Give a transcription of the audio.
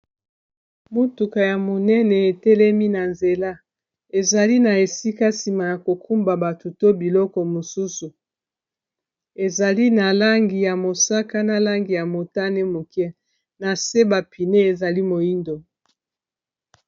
motuka ya monene etelemi na nzela ezali na esika sima ya kokumba batu to biloko mosusu ezali na langi ya mosaka na langi ya motane moke na se bapine ezali moindo